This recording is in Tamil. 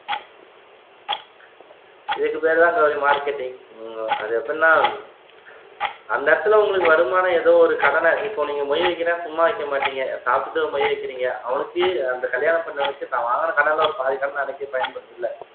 இதுக்கு பேருதான் கௌரி marketing ஹம் அது எப்படின்னா அந்த இடத்துல உங்களுக்கு வருமானம் ஏதோ ஒரு கடனை இப்போ நீங்க மொய் வைக்கிறேன் சும்மா வைக்க மாட்டீங்க சாப்பிட்டுட்டு மொய் வைக்கறீங்க அவனுக்கு அந்த கல்யாணம் பண்ணவனுக்கு தான் வாங்குன கடன ஒரு பாதி கடன அடைக்க பயன்படுதுல்ல